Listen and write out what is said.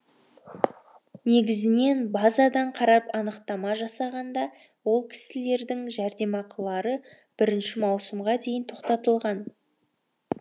негізінен базадан қарап анықтама жасағанда ол кісілердің жәрдемақылары бірінші маусымға дейін тоқтатылған